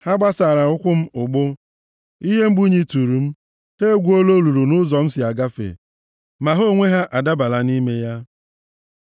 Ha gbasaara ụkwụ m ụgbụ, ihe mgbu nyịturu m. Ha egwuola olulu nʼụzọ m si agafe, ma ha onwe ha adabala nʼime ya. Sela